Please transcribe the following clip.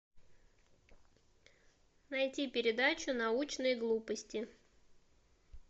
найти передачу научные глупости